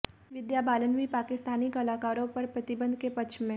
विद्या बालन भी पाकिस्तानी कलाकारों पर प्रतिबंध के पक्ष में